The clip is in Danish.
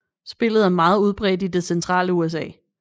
Spillet er meget udbredt i det centrale USA